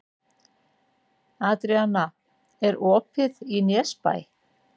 Adríana, er opið í Nesbæ?